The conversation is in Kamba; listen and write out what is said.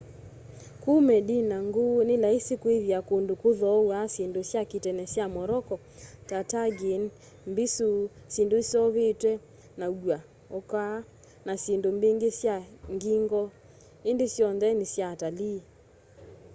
kuu medina nguu ni laisi kwithia kundu kuthoaw'a syindu sya ki'tene sya morocco ta tagine mbisu syindu iseuvitw'e na ua hookah na syindu mbingi sya geegaw indi syonthe ni sya atalii